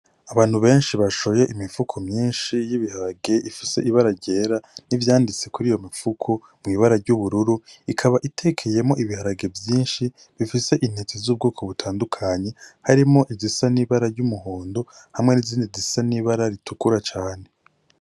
Abantu benshi bashoye imifuko myinshi y' ibiharage ifise ibara ryera n' ivyanditse kuriyo mifuko mw'ibara ry'ubururu ikaba itekeyemwo ibiharage vyinshi bifise intete z' ubwoko butandukanye harimwo izisa n' ibara ry'umuhondo hamwe n' izindi zisa n' ibara ritukura cane.